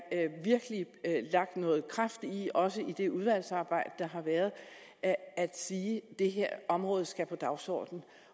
lagt noget kraft i også i det udvalgsarbejde der har været at at sige at det her område skal på dagsordenen